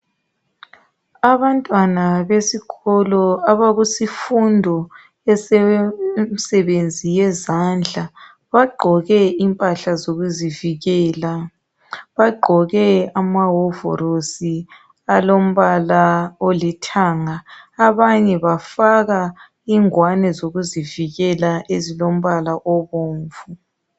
Abantwana besikolo abakusifundo yemsebenzi yezandla bagqoke impahla zokuzivikela. Bagqoke amahovolosi alombala olithanga abanye bafaka ingwane zokuzivikela ezilombala obomvu.